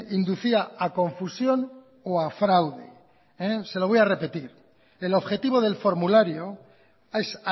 inducía a confusión o a fraude se lo voy a repetir el objetivo del formulario es